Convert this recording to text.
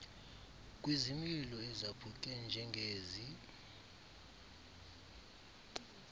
kwizimilo ezaphuke njengezi